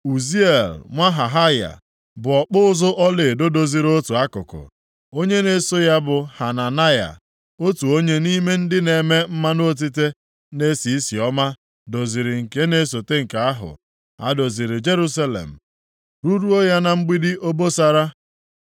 Uziel nwa Hahaya, bụ ọkpụ ụzụ ọlaedo, doziri otu akụkụ. Onye na-eso ya bụ Hananaya, otu onye nʼime ndị na-eme mmanụ otite na-esi isi ọma, doziri nke na-esote nke ahụ. Ha doziri Jerusalem ruruo ya na Mgbidi Obosara.